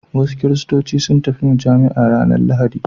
Wasu kiristoci sun tafi mujami'a ranar Lahadi.